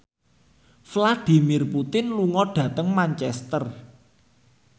Vladimir Putin lunga dhateng Manchester